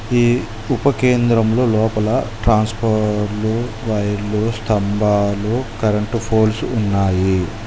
ఈ ఉపకేంద్రంలో లోపల ట్రాన్స్ఫార్మ్ వైర్లు స్తంభాలు కరెంటు పోల్స్ ఉన్నాయి.